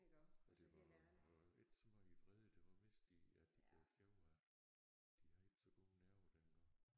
Og det var var ikke så meget i vrede det var mest de at de blev kede af det de havde ikke så gode nerver dengang